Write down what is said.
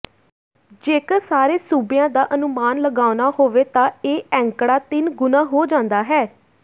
ਜੇਕਰ ਸਾਰੇ ਸੂਬੀਆਂ ਦਾ ਅਨੁਮਾਨ ਲਗਾਉਣਾ ਹੋਵੇ ਤਾਂ ਇਹ ਅੰਕੜਾ ਤਿੰਨ ਗੁਣਾ ਹੋ ਜਾਂਦਾ ਹੈ